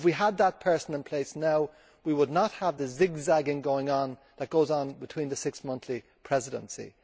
If we had that person in place now we would not have the zigzagging that goes on between the six monthly presidencies.